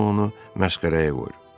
Hamı onu məşğələyə qoyur.